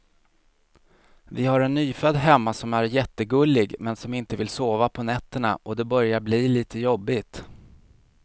Vi har en nyfödd hemma som är jättegullig, men som inte vill sova på nätterna och det börjar bli lite jobbigt.